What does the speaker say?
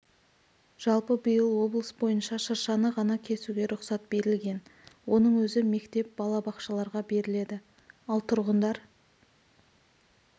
жалпы биыл облыс бойынша шыршаны ғана кесуге рұқсат берілген оның өзі мектеп бала-бақшаларға беріледі ал тұрғындар